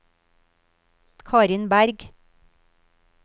Karin Bergh